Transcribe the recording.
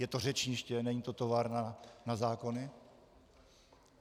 Je to řečniště, není to továrna na zákony.